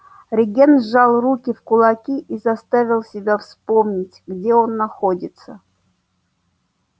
регент сжал руки в кулаки и заставил себя вспомнить где он находится